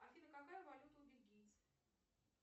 афина какая валюта у бельгийцев